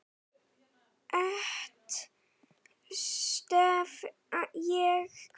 Eitt stef ég kvað.